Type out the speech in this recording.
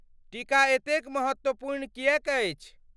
टीका एतेक महत्वपूर्ण किएक अछि?